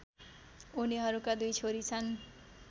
उनीहरूका दुई छोरी छन्